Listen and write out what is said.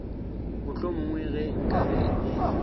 mohlomongwe ge nka be e